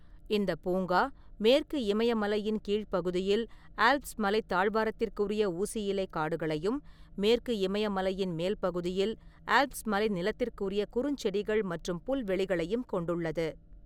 இந்தப் பூங்கா மேற்கு இமயமலையின் கீழ் பகுதியில் ஆல்ப்ஸ் மலைத் தாழ்வாரத்திற்குரிய ஊசியிலைக் காடுகளையும், மேற்கு இமயமலையின் மேல் பகுதியில் ஆல்ப்ஸ் மலை நிலத்திற்குரிய குறுஞ்செடிகள் மற்றும் புல்வெளிகளையும் கொண்டுள்ளது.